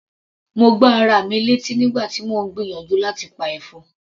Mo gbá ara mi létí nígbà tí mò ń gbìyànjú láti pa ẹ̀fọn.